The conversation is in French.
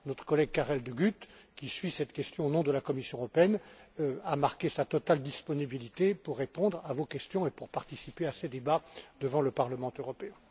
Notre collègue Karel De Gucht, qui suit cette question au nom de la Commission européenne, a fait part de sa totale disponibilité pour répondre à vos questions et pour participer à ces débats devant le Parlement européen.